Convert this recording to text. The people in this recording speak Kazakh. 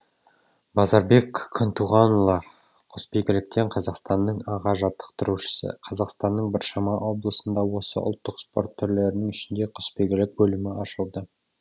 базарбек күнтуғанұлы құсбегіліктен қазақстанның аға жаттықтырушысы қазақстанның біршама облысында осы ұлттық спорт түрлерінің ішінде құсбегілік бөлімі ашылды